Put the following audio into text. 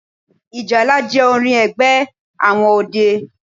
Ìjálá jẹ́ orin ẹgbẹ́ àwọn ọdẹ